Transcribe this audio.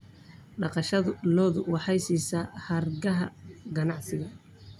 Dhaqashada lo'du waxay siisaa hargaha ganacsiga.